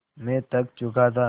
मैं थक चुका था